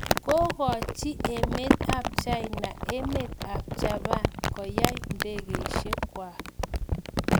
Kokochik emet ap China emet ap Japan koyak ndegeishek kwak.